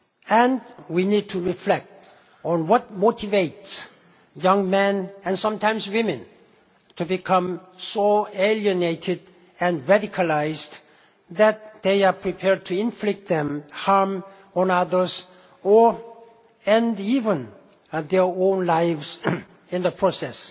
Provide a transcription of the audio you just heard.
And we need to reflect on what motivates young men, and sometimes women, to become so alienated and radicalised that they are prepared to inflict harm on others and even end their own lives in the process.